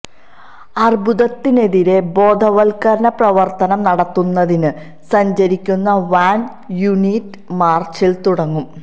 അര്ബുദത്തിനെതിരെ ബോധവത്കരണ പ്രവര്ത്തനം നടത്തുന്നതിന് സഞ്ചരിക്കുന്ന വാന് യൂണിറ്റ് മാര്ച്ചില് തുടങ്ങും